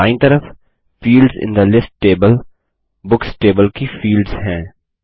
और दायीं तरफ fields in the list table books table की फील्ड्स हैं